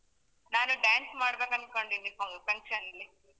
ನಾನು dance ಮಾಡ್ಬೇಕಂದ್ಕೊಂಡಿದ್ದೀನಿ fun~ function ನಲ್ಲಿ.